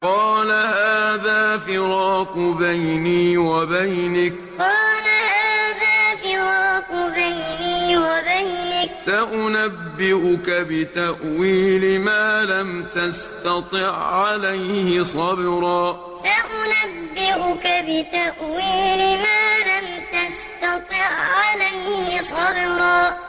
قَالَ هَٰذَا فِرَاقُ بَيْنِي وَبَيْنِكَ ۚ سَأُنَبِّئُكَ بِتَأْوِيلِ مَا لَمْ تَسْتَطِع عَّلَيْهِ صَبْرًا قَالَ هَٰذَا فِرَاقُ بَيْنِي وَبَيْنِكَ ۚ سَأُنَبِّئُكَ بِتَأْوِيلِ مَا لَمْ تَسْتَطِع عَّلَيْهِ صَبْرًا